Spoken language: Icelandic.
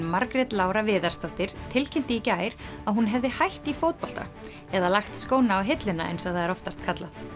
Margrét Lára Viðarsdóttir tilkynnti í gær að hún hefði hætt í fótbolta eða lagt skóna á hilluna eins og það er oftast kallað